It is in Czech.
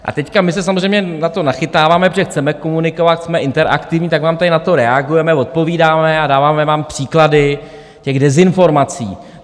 A teď my se samozřejmě na to nachytáváme, protože chceme komunikovat, jsme interaktivní, tak vám tady na to reagujeme, odpovídáme a dáváme vám příklady těch dezinformací.